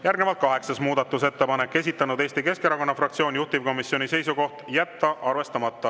Järgnevalt kaheksas muudatusettepanek, esitanud Eesti Keskerakonna fraktsioon, juhtivkomisjoni seisukoht: jätta arvestamata.